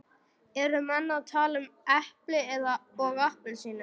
Eru menn að tala um epli og appelsínur?